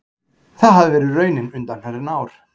Það hafi verið raunin undanfarin ár